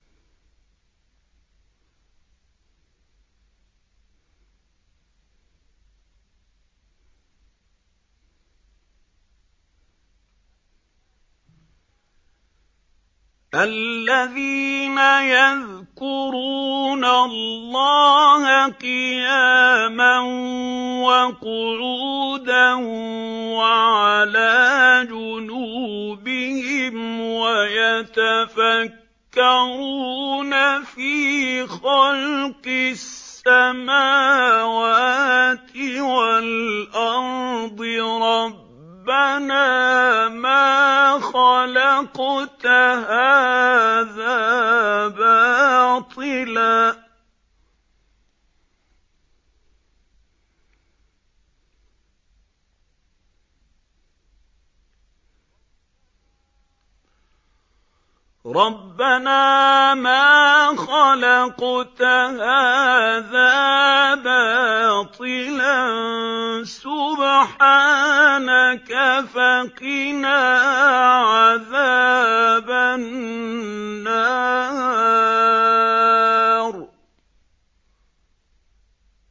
الَّذِينَ يَذْكُرُونَ اللَّهَ قِيَامًا وَقُعُودًا وَعَلَىٰ جُنُوبِهِمْ وَيَتَفَكَّرُونَ فِي خَلْقِ السَّمَاوَاتِ وَالْأَرْضِ رَبَّنَا مَا خَلَقْتَ هَٰذَا بَاطِلًا سُبْحَانَكَ فَقِنَا عَذَابَ النَّارِ